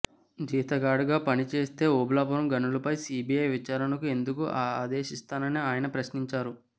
జీతగాడుగా పనిచేస్తే ఓబుళాపురం గనులపై సీబీఐ విచారణకు ఎందుకు ఆదేశిస్తానని ఆయన ప్రశ్నించారు